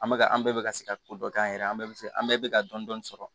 An bɛ ka an bɛɛ bɛ ka se ka ko dɔ kɛ an yɛrɛ an bɛɛ bɛ se an bɛɛ bɛ ka dɔni sɔrɔ